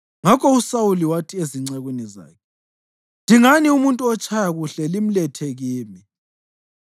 Ngakho uSawuli wathi ezincekwini zakhe, “Dingani umuntu otshaya kuhle limlethe kimi.”